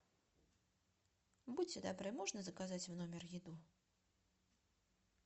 будьте добры можно заказать в номер еду